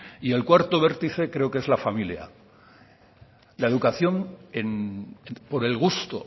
y el cuarto vértice creo que es la familia la educación por el gusto